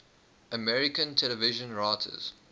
american television writers